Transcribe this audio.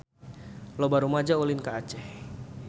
Loba rumaja ulin ka Aceh